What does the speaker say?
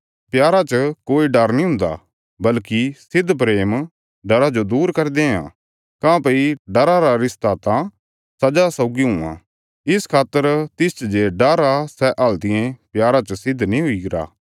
प्यारा च कोई डर नीं हुन्दा बल्कि सिद्ध प्रेम डरा जो दूर करी देआं काँह्भई डरा रा रिश्ता त सजा सौगी हुआं इस खातर तिसच जे डर आ सै हल्तियें प्यारा च सिद्ध नीं हुईरा